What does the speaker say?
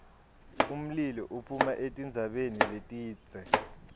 umlilo uphuma etintsabeni letindze